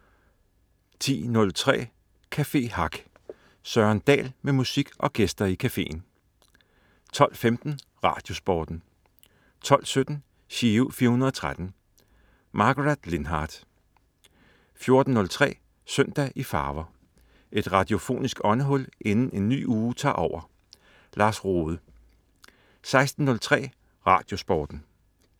10.03 Café Hack. Søren Dahl med musik og gæster i cafeen 12.15 RadioSporten 12.17 Giro 413. Margaret Lindhardt 14.03 Søndag i farver. Et radiofonisk åndehul inden en ny uge tager over. Lars Rohde 16.03 RadioSporten